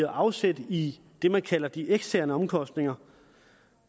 afsæt i det man kalder de eksterne omkostninger